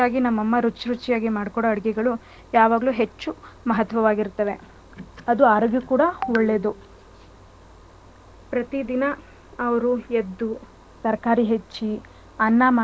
ನಮ್ ಅಮ್ಮ ರುಚ್ ರುಚ್ಯಾಗಿ ಮಾಡ್ಕೊಡೋ ಅಡಿಗೆಗಳು ಯಾವಾಗ್ಲೂ ಹೆಚ್ಚು ಮಹತ್ವವಾಗಿರುತ್ತವೇ ಅದು ಆರೋಗ್ಯಕ್ಕೂ ಕೂಡ ಒಳ್ಳೇದು . ಪ್ರತಿದಿನ ಅವ್ರು ಎದ್ದು ತರ್ಕಾರಿ ಹಚ್ಚಿ ಅನ್ನ ಮಾಡಿ